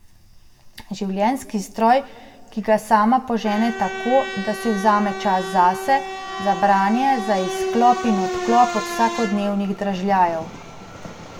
Življenjski stroj, ki ga sama požene tako, da si vzame čas zase, za branje, za izklop in odklop od vsakodnevnih dražljajev.